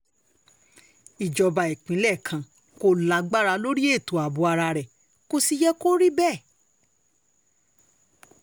ìjọba ìpínlẹ̀ kan kò lágbára lórí ètò ààbò ara rẹ̀ kò sì yẹ kó rí bẹ́ẹ̀